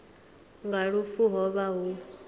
nga lufu ho vha hu